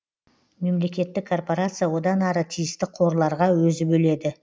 мемлекеттік корпорация одан ары тиісті қорларға өзі бөледі